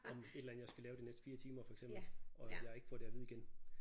Om et eller andet jeg skal lave de næste 4 timer for eksempel og jeg ikke får det at vide igen